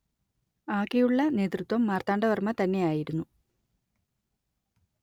അകെയുള്ള നേതൃത്വം മാർത്താണ്ഡവർമ്മ തന്നെയായിരുന്നു